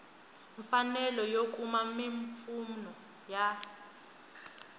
mfanelo yo kuma mimpfuno ya